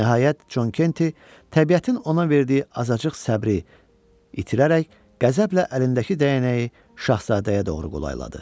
Nəhayət, Con Kenti təbiətin ona verdiyi azacıq səbri itirərək qəzəblə əlindəki dəyənəyi şahzadəyə doğru qolayladı.